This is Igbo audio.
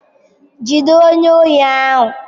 Jide onye ohi ahu!